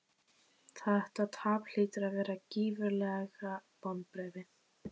Þetta tap hlýtur að vera gífurleg vonbrigði?